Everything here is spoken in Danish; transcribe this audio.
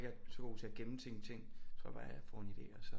Jeg er så god til at gemme ting ting jeg tror bare jeg får en idé og så